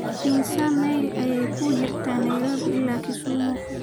imisa mayl ayaa u jirta nairobi ilaa kisumu